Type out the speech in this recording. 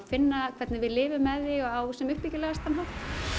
finna hvernig við lifum með því á sem uppbyggilegastan hátt